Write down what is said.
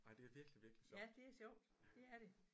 Ej det er virkelig virkelig sjovt